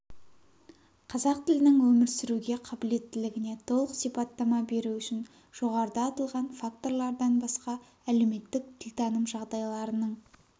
қазақ тілінің өмір сүруге қабілеттілігіне толық сипаттама беру үшін жоғарыда аталған факторлардан басқа әлеуметтік тілтаным жағдайларының